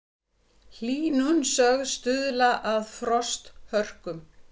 Hlýnun sögð stuðla að frosthörkum